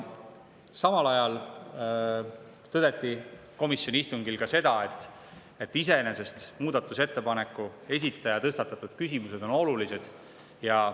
Samal ajal tõdeti komisjoni istungil ka seda, et iseenesest muudatusettepaneku esitaja tõstatatud küsimused on olulised.